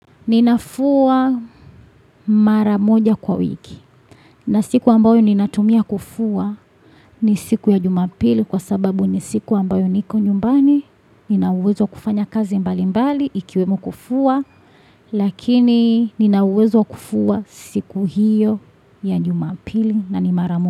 Ninafua mara moja kwa wiki na siku ambayo ninatumia kufua ni siku ya jumapili kwa sababu ni siku ambayo niko nyumbani nina uwezo kufanya kazi mbali mbali ikiwemo kufua lakini nina uwezo wa kufua siku hiyo ya jumapili na ni mara moja.